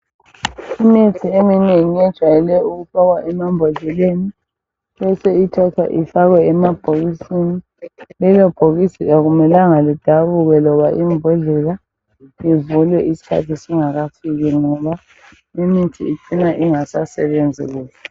Imithi eminengi ejwayele ukufakwa emambodleleni, bese ithathwa ifakwe emabhokisini. Lelo bhokisi akumelanga lidabuke loba imbodlela ivulwe isikhathi singakafiki ngoba mithi ifika ingasasebenzi kuhle.